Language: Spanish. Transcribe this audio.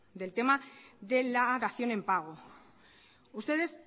del tema de la dación en pago ustedes